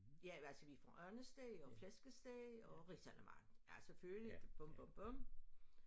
Ja altså vi får andesteg og flæskesteg og risalamande ja selvfølgelig bum bum bum